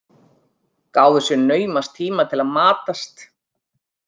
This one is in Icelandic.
Gáfu sér naumast tíma til að matast.